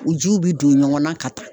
U jiw bɛ don ɲɔgɔn na ka taa.